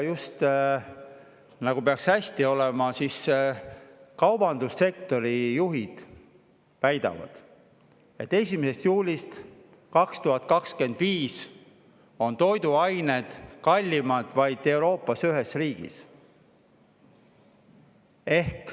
Just nagu peaks hästi olema, aga kaubandussektori juhid väidavad, et 1. juulist 2025 on Euroopas toiduained kallimad vaid ühes riigis.